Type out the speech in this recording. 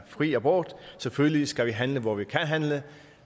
fri abort selvfølgelig skal vi handle hvor vi kan handle